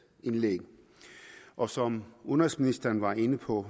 indlæg og som udenrigsministeren var inde på